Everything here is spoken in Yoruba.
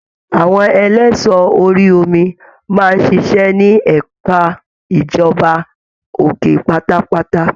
Àwọn ẹlẹṣọ orí omi máa n ṣiṣẹ ní ẹka ìjọba òkè pátápátá.